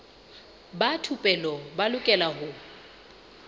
ba thupelo ba lokela ho